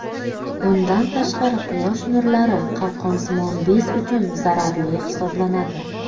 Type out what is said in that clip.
Bundan tashqari quyosh nurlari qalqonsimon bez uchun zararli hisoblanadi.